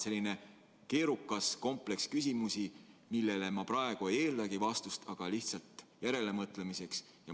Selline keerukas kompleks küsimusi, millele ma praegu ei eeldagi vastust, aga see on lihtsalt järelemõtlemiseks.